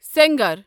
سَنگر